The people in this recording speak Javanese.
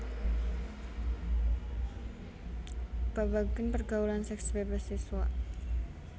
Babagan pergaulan seks bebas siswa